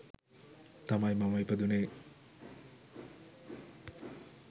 තමයි මම ඉපදුණේ.